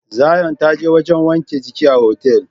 Zion ta je wajen wanke giki a otel.